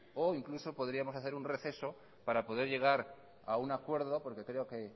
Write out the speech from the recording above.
o incluso podríamos hacer un receso para poder llegar a un acuerdo porque creo que